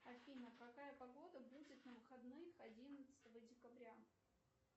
афина какая погода будет на выходных одиннадцатого декабря